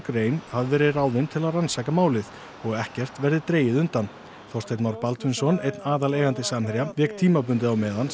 rein hafi verið ráðin til að rannsaka málið og ekkert verði dregið undan Þorsteinn Már Baldvinsson einn aðaleigandi Samherja vék tímabundið á meðan